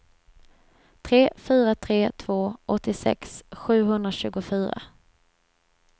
tre fyra tre två åttiosex sjuhundratjugofyra